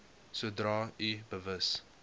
sodra u bewus